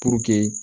Puruke